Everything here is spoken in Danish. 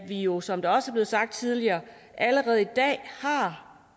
jo som det også blev sagt tidligere allerede i dag har